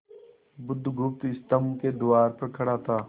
बुधगुप्त स्तंभ के द्वार पर खड़ा था